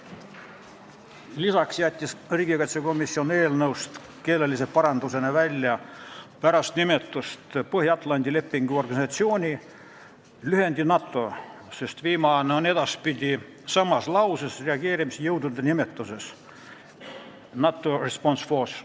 Lisaks jättis komisjon eelnõust keeleparandusena välja pärast nimetust Põhja-Atlandi Lepingu Organisatsiooni lühendi NATO, sest viimane on edaspidi samas lauses reageerimisjõudude nimetuses NATO Response Force.